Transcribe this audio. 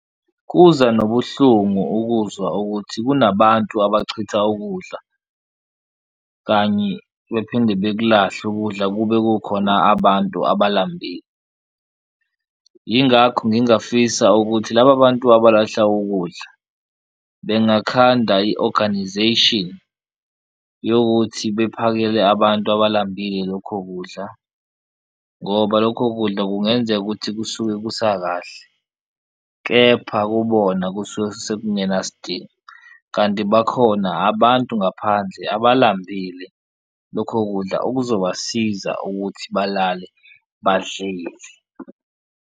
Kuza nobuhlungu ukuzwa ukuthi kunabantu abachitha ukudla kanye bephinde bekulahle ukudla kube kukhona abantu abalambile, ingakho ngingafisa ukuthi laba bantu abalahla ukudla bengakhanda i-organization yokuthi bephakele abantu abalambele lokho kudla. Ngoba lokho kudla kungenzeka ukuthi kusuke kusakahle kepha kubona kusuke sekungenasidingo kanti bakhona abantu ngaphandle abalambile lokho kudla okuzobasiza ukuthi balale badlile.